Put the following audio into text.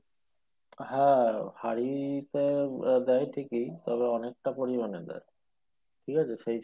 হ্যাঁ হাড়ি তে দেই ঠিকই তবে অনেকটা পরিমাণে দেই ঠিক আছে?